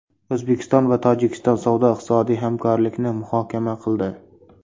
O‘zbekiston va Tojikiston savdo-iqtisodiy hamkorlikni muhokama qildi.